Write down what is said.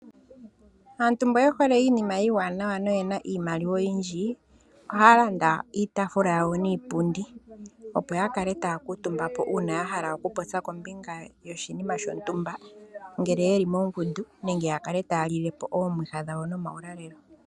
Aantu mba yehole iinima iiwanawa yo oyena iimaliwa oyindji ohaalanda iitafula niipundi opo yakale taakutumbako uuna yahala okupopya kombinga yoshinima shontumba ngele yeli moongundu nenge yalilepo omwiha nuulalelo.